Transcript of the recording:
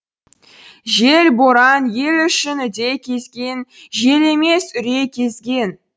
жел боран ел ішін үдей кезген жел емес үрей кезген